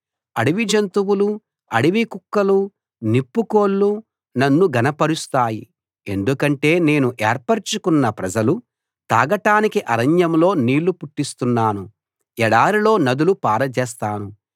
అడవి జంతువులు అడవి కుక్కలు నిప్పుకోళ్లు నన్ను ఘనపరుస్తాయి ఎందుకంటే నేను ఏర్పరచుకొన్న ప్రజలు తాగటానికి అరణ్యంలో నీళ్ళు పుట్టిస్తున్నాను ఎడారిలో నదులు పారజేస్తాను